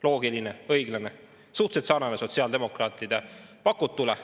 Loogiline, õiglane ja suhteliselt sarnane sotsiaaldemokraatide pakutuga.